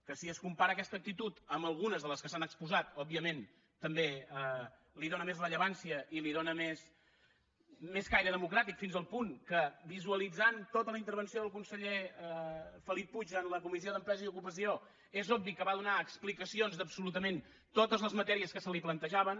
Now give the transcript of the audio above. que si es compara aquesta actitud amb algunes de les que s’han exposat òbviament també li dóna més rellevància i li dóna més caire democràtic fins al punt que visualitzant tota la intervenció del conseller felip puig en la comissió d’empresa i ocupació és obvi que va donar explicacions d’absolutament totes les matèries que se li plantejaven